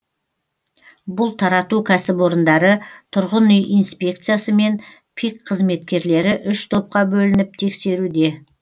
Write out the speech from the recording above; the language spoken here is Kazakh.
бұл тарату кәсіпорындары тұрғын үй инспекциясы мен пик қызметкерлері үш топқа бөлініп тексеруде